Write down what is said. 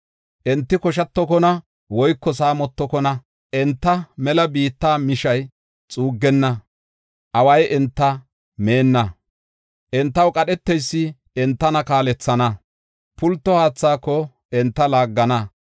Enti koshatokona woyko saamotokona; enta mela biitta mishay xuuggenna; away enta meenna. Entaw qadheteysi enta kaalethana; pulto haathaako enta laaggana.